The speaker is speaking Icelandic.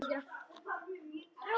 Þá kvað Jón: Hver las?